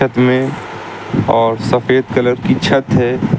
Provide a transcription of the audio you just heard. में और सफेद कलर की छत है।